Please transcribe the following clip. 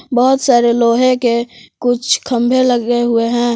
बहुत सारे लोहे के कुछ खंबे लगे हुए हैं।